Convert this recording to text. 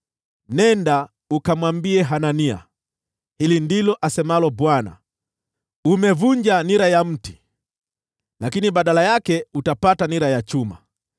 “Nenda ukamwambie Hanania, ‘Hili ndilo asemalo Bwana : Umevunja nira ya mti, lakini badala yake utapata nira ya chuma.